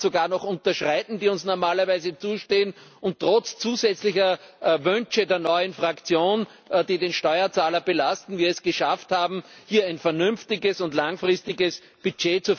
sogar noch unterschreiten, die uns normalerweise zustehen, und dass wir es trotz zusätzlicher Wünsche der neuen Fraktion, die den Steuerzahler belasten, geschafft haben, hier ein vernünftiges und langfristiges Budget